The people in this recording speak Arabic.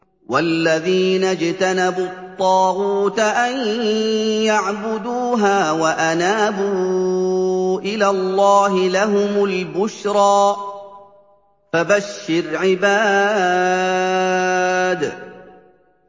وَالَّذِينَ اجْتَنَبُوا الطَّاغُوتَ أَن يَعْبُدُوهَا وَأَنَابُوا إِلَى اللَّهِ لَهُمُ الْبُشْرَىٰ ۚ فَبَشِّرْ عِبَادِ